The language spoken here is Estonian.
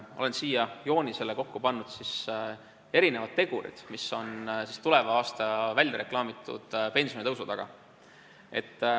Olen siia joonisele kokku pannud erinevad tegurid, mis on tulevaks aastaks väljareklaamitud pensionitõusu taga.